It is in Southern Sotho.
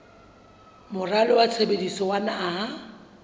moralo wa tshebetso wa naha